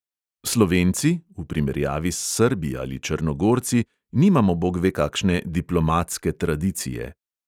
Slovenci (v primerjavi s srbi ali črnogorci) nimamo bogve kakšne diplomatske tradicije.